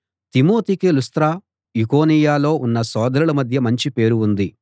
తిమోతికి లుస్త్ర ఈకొనియలో ఉన్న సోదరుల మధ్య మంచి పేరు ఉంది